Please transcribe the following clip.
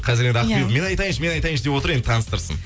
қазір енді ақбибі мен айтайыңшы мен айтайыңшы деп отыр енді таныстырсын